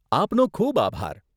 આપનો ખૂબ આભાર.